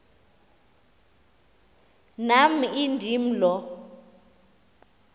nam indim lo